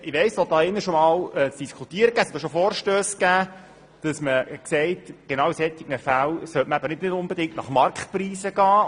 Es wurde auch schon hier im Saal diskutiert, und es gab auch Vorstösse, die besagten, man sollte sich gerade in solchen Fällen nicht unbedingt an Marktpreisen orientieren.